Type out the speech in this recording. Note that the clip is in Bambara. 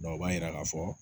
o b'a yira k'a fɔ